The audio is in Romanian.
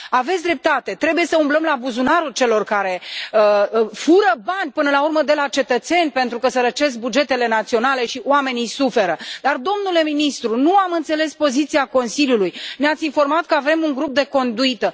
Aveți dreptate trebuie să umblăm la buzunarul celor care fură bani până la urmă de la cetățeni pentru că sărăcesc bugetele naționale și oamenii suferă, dar, domnule ministru, nu am înțeles poziția Consiliului ne ați informat că avem un grup de conduită.